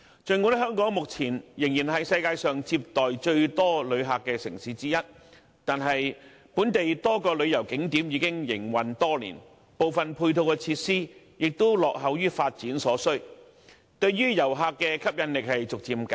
儘管香港目前仍然是世界上接待最多旅客的城市之一，但本地多個旅遊景點已經營運多年，部分配套設施亦落後於發展所需，對遊客的吸引力正逐漸減弱。